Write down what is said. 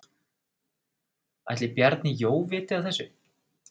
Ætli Bjarni Jó vita af þessu?